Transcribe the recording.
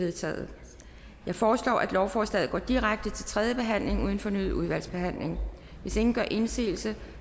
vedtaget jeg foreslår at lovforslaget går direkte til tredje behandling uden fornyet udvalgsbehandling hvis ingen gør indsigelse